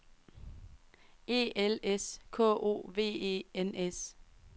E L S K O V E N S